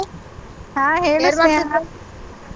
ಹ ಹೇಳು ಸ್ನೇಹ .